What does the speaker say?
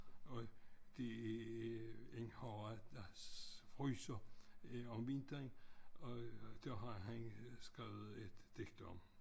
Og det en horra der fryser øh om vinteren og det har han skrevet et digt om